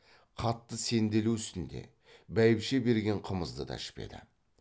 қатты сенделу үстінде бәйбіше берген қымызды да ішпеді